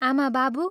आमा बाबु!